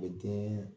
U bɛ den